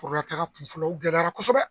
Forolataga kunfɔlɔ o gɛlɛyara kosɛbɛ